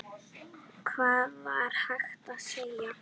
Hvað var hægt að segja?